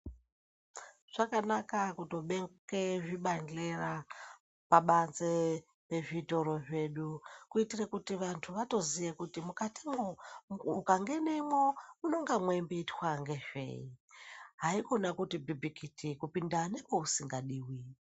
Zvakanaka kutobeke zvibadhlera pabanze pezvitoro zvedu, kuitire kuti vanthu vatoziye kuti mukatimwo ukangenemwo munonga mweimboitwa ngezvei? Haikona kuti pipikiti kupinda nekweusingadiwi.